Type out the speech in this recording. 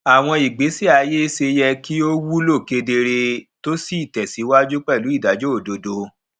àwọn ìgbésẹ ayé ṣe yẹ kí ó wúlò kedere tó sì tẹsíwájú pẹlú ìdájọ òdodo